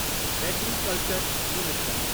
Agriculture minister.